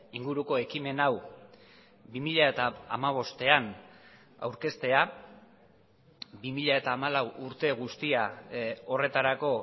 inguruko ekimen hau bi mila hamabostean aurkeztea bi mila hamalau urte guztia horretarako